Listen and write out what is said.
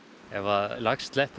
ef lax sleppur úr